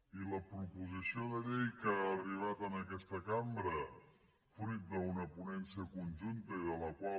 i la proposició de llei que ha arribat a aquesta cambra fruit d’una ponència conjunta i de la qual